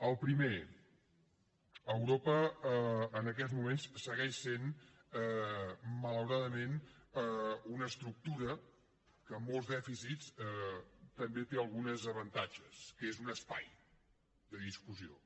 el primer europa en aquests moments segueix sent malauradament una estructura que amb molts dèficits també té algun avantatge que és un espai de discussió